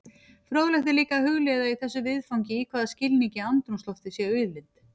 Fróðlegt er líka að hugleiða í þessu viðfangi í hvaða skilningi andrúmsloftið sé auðlind.